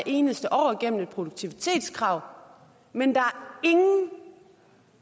eneste år gennem et produktivitetskrav men